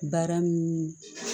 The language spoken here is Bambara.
Baara min